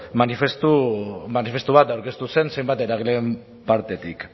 manifestu aurkeztu zen zenbat eragileen partetik